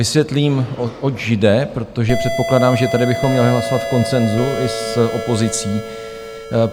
Vysvětlím, oč jde, protože předpokládám, že tady bychom měli hlasovat v konsenzu i s opozicí.